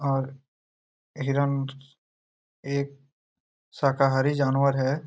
और हिरन एक शाकाहारी जानवर हैं।